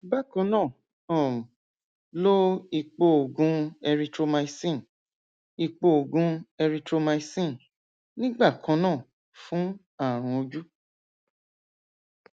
bákan náà um lo epooògùn erythromycin epooògùn erythromycin nígbà kan náà fún ààrùn ojú